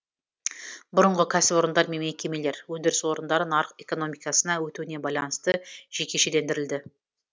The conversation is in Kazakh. бұрынғы кәсіпорындар мен мекемелер өндіріс орындары нарық экономикасына өтуіне байланысты жекешелендірілді